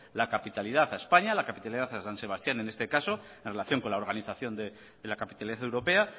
la capitalidad a españa la capitalidad a san sebastián en este caso en relación con la organización de la capitalidad europea